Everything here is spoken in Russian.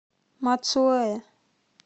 мацуэ